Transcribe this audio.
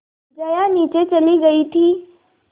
जया नीचे चली गई थी